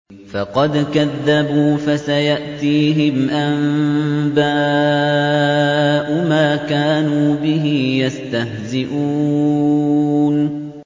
فَقَدْ كَذَّبُوا فَسَيَأْتِيهِمْ أَنبَاءُ مَا كَانُوا بِهِ يَسْتَهْزِئُونَ